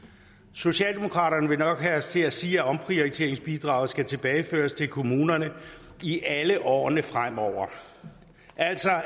socialdemokraterne vil nok have os til at sige at omprioriteringsbidraget skal tilbageføres til kommunerne i alle årene fremover